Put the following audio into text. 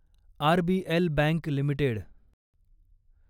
RBL bank limited